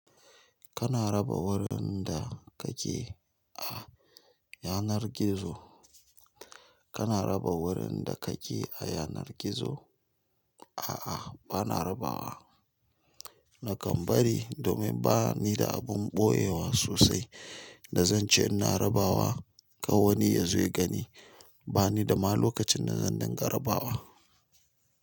Kana raba wurin da kake a yanar gizo? Kana raba wurin da kake a yanar gizo? A'a, bana rabawa. Nakan bari domin bani da abin ɓoyewa sosai da zan ce ina rabawa ka wani ya zo ya gani. Bani da ma lokacin da zan dinga rabawa.